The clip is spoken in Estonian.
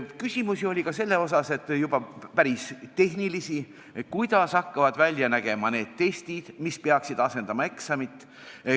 Küsimusi oli ka selle kohta – juba päris tehnilisi –, kuidas hakkavad välja nägema need testid, mis peaksid asendama eksamit.